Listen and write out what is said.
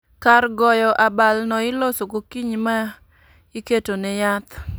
Kar goyo abal no iloso gokinyi ma iketo ne yath